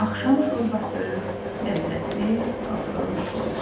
Axşam şorbası, ləzzətli, dadlı şorba.